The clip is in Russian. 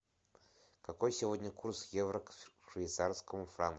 какой сегодня курс евро к швейцарскому франку